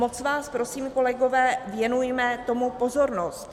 Moc vás prosím kolegové, věnujme tomu pozornost.